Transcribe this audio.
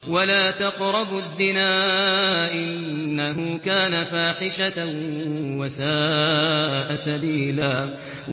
وَلَا تَقْرَبُوا الزِّنَا ۖ إِنَّهُ كَانَ فَاحِشَةً وَسَاءَ سَبِيلًا